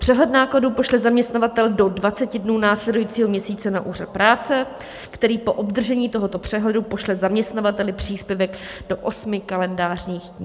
Přehled nákladů pošle zaměstnavatel do 20 dnů následujícího měsíce na úřad práce, který po obdržení tohoto přehledu pošle zaměstnavateli příspěvek do osmi kalendářních dní.